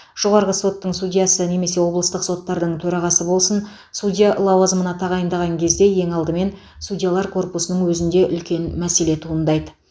жоғарғы соттың судьясы немесе облыстық соттардың төрағасы болсын судья лауазымына тағайындаған кезде ең алдымен судьялар корпусының өзінде үлкен мәселе туындайды